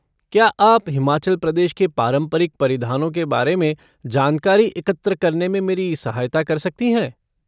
क्या आप हिमाचल प्रदेश के पारंपरिक परिधानों के बारे में जानकारी एकत्र करने में मेरी सहायता कर सकती हैं?